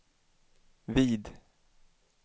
vid